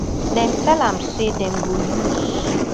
dem tell am say dem go use